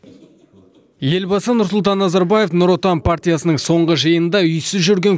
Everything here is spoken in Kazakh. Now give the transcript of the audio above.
елбасы нұрсұлтан назарбаев нұр отан партиясының соңғы жиынында үйсіз жүрген